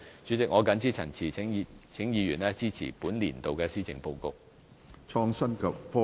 主席，我謹此陳辭，請議員支持本年度的施政報告。